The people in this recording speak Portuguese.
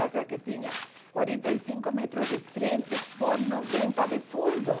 chacra que tinha quarenta e cinco metros de frente por noventa de fundo.